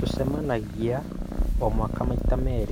Tũcemanagia o,waka maita meerĩ